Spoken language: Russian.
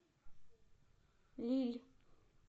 лилль